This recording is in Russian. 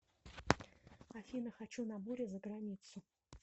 афина хочу на море заграницу